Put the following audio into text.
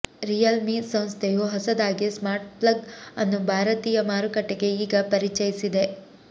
real ಮಿ ಸಂಸ್ಥೆಯು ಹೊಸದಾಗಿ smart plug ಅನ್ನು ಭಾರತೀಯ ಮಾರುಕಟ್ಟೆಗೆ ಈಗ ಪರಿಚಯಿಸಿದೆ